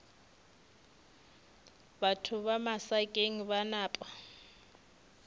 batho ba masakeng ba napa